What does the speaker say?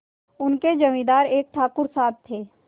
उनके जमींदार एक ठाकुर साहब थे